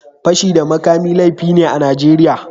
Fashi da makami laifi ne a Najeriya.